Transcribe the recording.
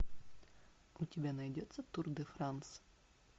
у тебя найдется тур де франс